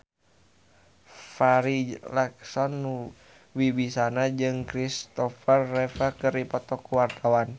Farri Icksan Wibisana jeung Kristopher Reeve keur dipoto ku wartawan